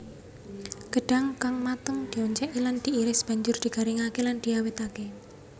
Gedhang kang mateng dioncéki lan diiris banjur digaringké lan diawétké